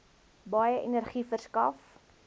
baie energie verskaf